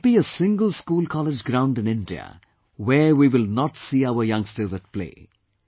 There should not be a single schoolcollege ground in India where we will not see our youngsters at play